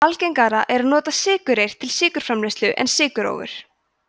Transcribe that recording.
algengara er að nota sykurreyr til sykurframleiðslu en sykurrófur